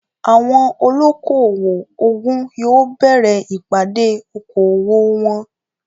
Àwọn olóko-owò ogún yóò bẹ̀rẹ ìpàdé oko-owò wọn